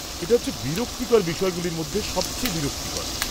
এটা হচ্ছে বিরক্তিকর বিষয়গুলির মধ্যে সবচেয়ে বিরক্তিকর।